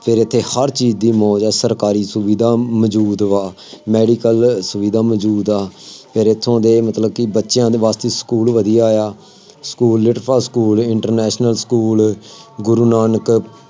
ਫੇਰ ਇੱਥੇ ਹਰ ਚੀਜ਼ ਦੀ ਮੌਜ ਆ, ਸਰਕਾਰੀ ਸੁਵਿਧਾ ਮੌਜੂਦ ਵਾ, medical ਸੁਵਿਧਾ ਮੌਜੂਦ ਆ, ਫੇਰ ਇੱਥੋ ਦੇ ਮਤਲਬ ਕਿ ਬੱਚਿਆਂ ਦੇ ਬੱਸ ਦੀ ਸਕੂਲ ਵਧੀਆ ਆ, ਸਕੂਲ ਲਿਟ school international school Guru Nanak